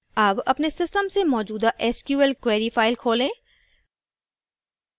अब अपने system से मौजूदा sql query फ़ाइल खोलें